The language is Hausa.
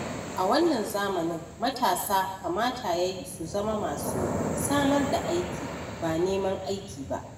A wannan zamanin, matasa kamata ya yi su zama masu samar da aiki ba neman aiki ba.